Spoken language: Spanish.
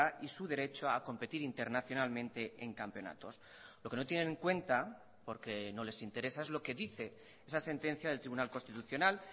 y su derecho a competir internacionalmente en campeonatos lo que no tienen en cuenta porque no les interesa es lo que dice esa sentencia del tribunal constitucional